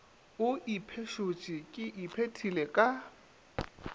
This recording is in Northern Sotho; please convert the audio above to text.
o ipešotše ke iphetile ka